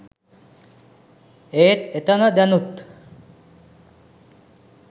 ඒත් ඒතන දැනුත්